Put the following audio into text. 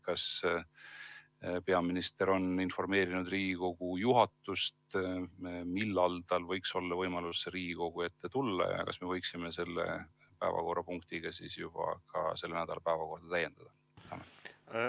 Kas peaminister on informeerinud Riigikogu juhatust, millal tal võiks olla võimalus Riigikogu ette tulla, ja kas me võiksime siis juba ka selle nädala päevakorda vastava päevakorrapunktiga täiendada?